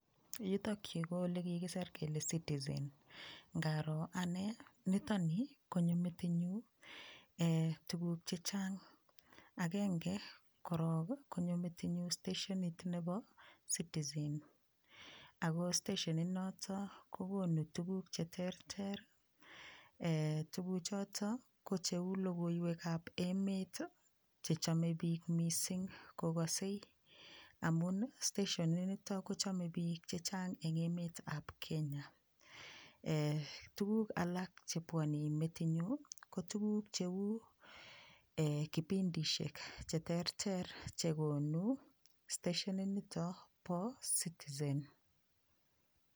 Yutokyu ko ole kikiser kele citizen ngaroo anee nitoni konyo metinyu tukuk chechang agenge koro konyo metinyu steshenit nebo citizen ako steshenit noto kokonu tukuk cheterter tukuchoto ko cheu logoiwek ab emet xhechomei piik mising kokosei amun steshenit noto kochomei piik chechang eng emet ab kenya tukuk alak chepwoni metinyu ko tukuk cheu kipindishek cheterter chekonu steshet nito bo Citizen.